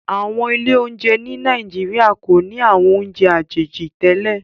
Awọn ilé oúnjẹ ni Naijiria ko ni awọn ounjẹ àjèjì tẹlẹ